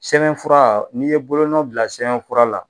Sɛbɛnfura n'i ye bolonɔ bila sɛbɛnfura la